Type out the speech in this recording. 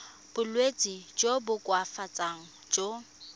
bolwetsi jo bo koafatsang jo